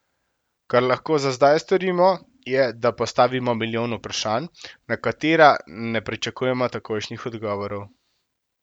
Kar lahko za zdaj storimo, je, da postavimo milijon vprašanj, na katera ne pričakujemo takojšnjih odgovorov.